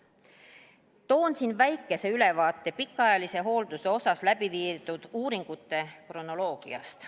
Toon siin väikese ülevaate pikaajalise hoolduse kohta läbi viidud uuringute kronoloogiast.